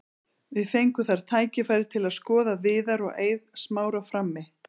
Við fengum þar tækifæri til að skoða Viðar og Eið Smára frammi.